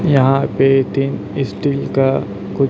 यहां पे तीन स्टील का--